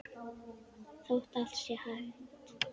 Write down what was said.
Þótt allt sé hætt?